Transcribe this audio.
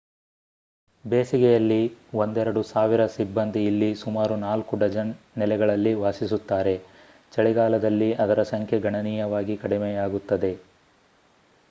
ಬೇಸಿಗೆಯಲ್ಲಿ ಒಂದೆರಡು ಸಾವಿರ ಸಿಬ್ಬಂದಿ ಇಲ್ಲಿ ಸುಮಾರು ನಾಲ್ಕು ಡಜನ್ ನೆಲೆಗಳಲ್ಲಿ ವಾಸಿಸುತ್ತಾರೆ ಚಳಿಗಾಲದಲ್ಲಿ ಅದರ ಸಂಖ್ಯೆ ಗಣನೀಯವಾಗಿ ಕಡಿಮೆಯಾಗುತ್ತದೆ